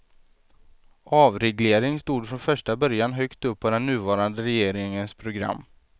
Avreglering stod från första början högt upp på den nuvarande regeringens program.